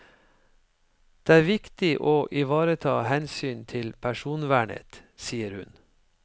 Det er viktig å ivareta hensyn til personvernet, sier hun.